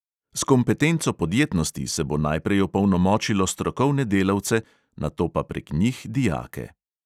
S kompetenco podjetnosti se bo najprej opolnomočilo strokovne delavce, nato pa prek njih dijake.